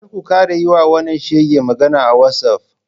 Kar ku kara yiwa wannan shegen magana ta wazof.